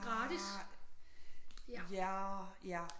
Gratis ja